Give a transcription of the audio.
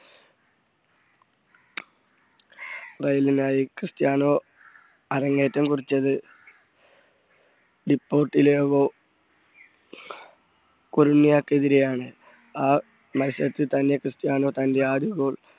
റെയിനിനായിക്രിസ്റ്റ്യാനോ അരങ്ങേറ്റം കുറിച്ചത് ഇപ്പോ ടിലാഗോ കുരണ്യ യിക്കെതിരെയാണ് ആ മത്സരത്തിൽ തന്നെ ക്രിസ്റ്റ്യാനോ തന്റെ ആദ്യ goal